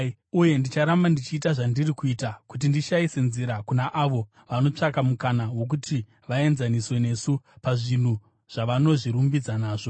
Uye ndicharamba ndichiita zvandiri kuita kuti ndishayise nzira kuna avo vanotsvaka mukana wokuti vaenzaniswe nesu pazvinhu zvavanozvirumbidza nazvo.